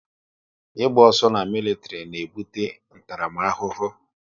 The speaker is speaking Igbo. Ị gba ọsọ na militiri na ebute ntaramahụhụ